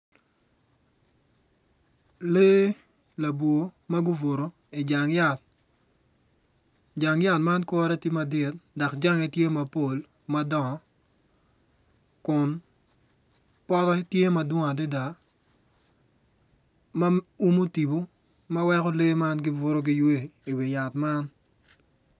Lee labwor ma gubuto ijang yat jang yat man tye kore tye madit dok jange tye mapol madongo kun pote tye madwong adada ma umo tipo ma weko lee man gibuto giywe iwi yat man.